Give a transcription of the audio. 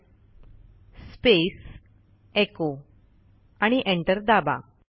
type space echoआणि enter दाबा